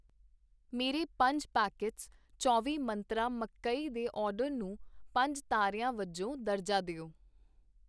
ਮੇਰੇ ਪੰਜ ਪੈਕੇਟਸ ਚੌਵੀਂ ਮੰਤਰਾਂ ਮਕਈ ਦੇ ਆਰਡਰ ਨੂੰ ਪੰਜ ਤਾਰਿਆਂ ਵਜੋਂ ਦਰਜਾ ਦਿਓ